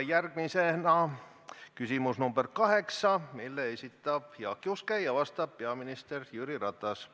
Järgmisena küsimus nr 8, mille esitab Jaak Juske ja vastab peaminister Jüri Ratas.